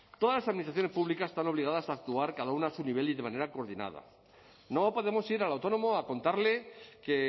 todas las administraciones públicas están obligadas a actuar cada una a su nivel y de manera coordinada no podemos ir al autónomo a contarle que